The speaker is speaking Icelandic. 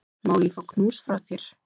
Má ég fá knús frá þér?